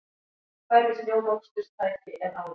Færri snjómoksturstæki en áður